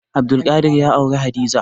Abdulkadir ya auri Hadiza.